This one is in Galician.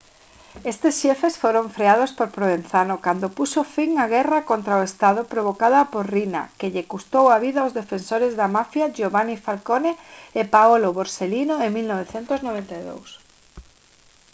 estes xefes foron freados por provenzano cando puxo fin á guerra contra o estado provocada por riina que lle custou a vida aos defensores da mafia giovanni falcone e paolo borsellino en 1992»